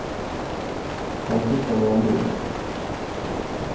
Kan du skicka mig en bil.